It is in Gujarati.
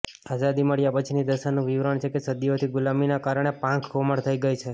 આઝાદી મળ્યા પછીની દશાનું વિવરણ છે કે સદીઓથી ગુલામીના કારણે પાંખ કોમળ થઇ ગઇ છે